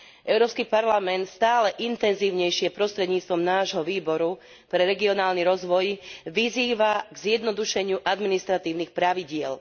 Európsky parlament stále intenzívnejšie prostredníctvom nášho výboru pre regionálny rozvoj vyzýva k zjednodušeniu administratívnych pravidiel.